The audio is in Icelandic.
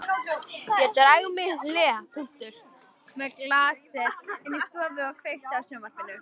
Ég dreg mig í hlé með glasið inn í stofu og kveiki á sjónvarpinu.